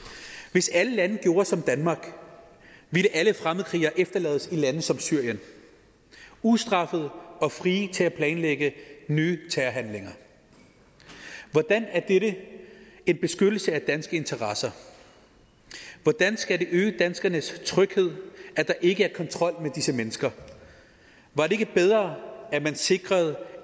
hvis alle lande gjorde som danmark ville alle fremmedkrigere efterlades i lande som syrien ustraffede og frie til at planlægge nye terrorhandlinger hvordan er dette en beskyttelse af danske interesser hvordan skal det øge danskernes tryghed at der ikke er kontrol med disse mennesker var det ikke bedre at man sikrede